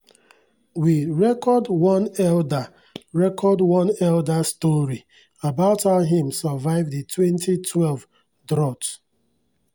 we record one elder record one elder story about how him survive di 2012 drought.